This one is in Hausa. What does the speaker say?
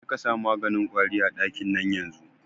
Jekasa maganin kwari a ɗakin nan yanzun